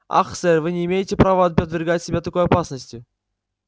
ах сэр вы не имеете права подвергать себя такой опасности